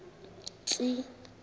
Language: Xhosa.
tsi i i